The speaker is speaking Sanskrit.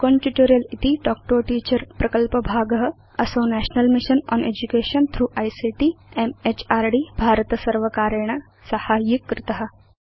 स्पोकेन ट्यूटोरियल् इति तल्क् तो a टीचर प्रकल्पभाग असौ national mission on education through ICT म्हृद् भारतसर्वकारेण साहाय्यीकृत